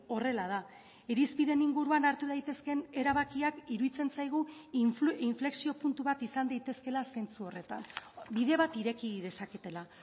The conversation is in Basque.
horrela da irizpideen inguruan hartu daitezkeen erabakiak iruditzen zaigu inflexio puntu bat izan daitezkeela zentzu horretan bide bat ireki dezaketela